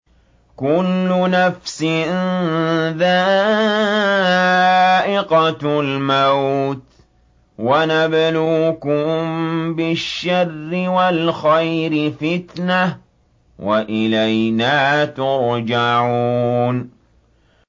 كُلُّ نَفْسٍ ذَائِقَةُ الْمَوْتِ ۗ وَنَبْلُوكُم بِالشَّرِّ وَالْخَيْرِ فِتْنَةً ۖ وَإِلَيْنَا تُرْجَعُونَ